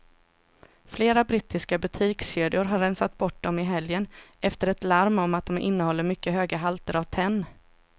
Flera brittiska butikskedjor har rensat bort dem i helgen efter ett larm om att de innehåller mycket höga halter av tenn.